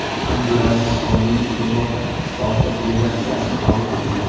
Abdulaziz Komilov Yevropa Ittifoqi delegatsiyasini qabul qildi.